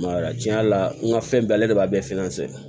tiɲɛ yɛrɛ la n ka fɛn bɛɛ ale de b'a bɛɛ